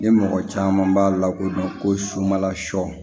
Ni mɔgɔ caman b'a lakodɔn ko subala sɔ